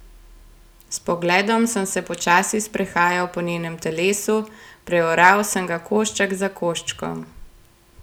S pogledom sem se počasi sprehajal po njenem telesu, preoral sem ga košček za koščkom.